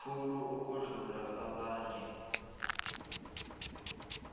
khulu ukudlula abanye